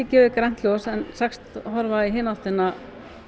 gefið grænt ljós en sagst horfa í hina áttina